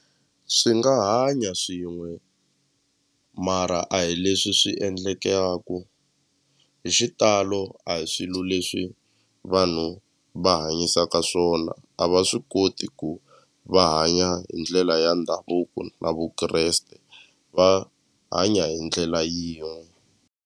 Swi nga hanya swin'we mara a hi leswi swi endlekaku hi xitalo a hi swilo leswi vanhu va hanyisaka swona a va swi koti ku va hanya hi ndlela ya ndhavuko na Vukreste va hanya hi ndlela yin'we.